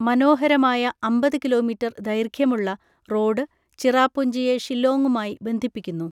മനോഹരമായ അമ്പത് കിലോമീറ്റർ ദൈർഘ്യമുള്ള റോഡ് ചിറാപുഞ്ചിയെ ഷില്ലോംഗുമായി ബന്ധിപ്പിക്കുന്നു.